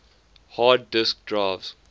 hard disk drives